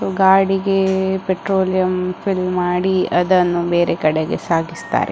ಗಾಡಿಗೆ petroleum fill ಮಾಡಿ ಅದನ್ನು ಬೇರೆ ಕಡೆಗೆ ಸಾಗಿಸ್ತಾರೆ.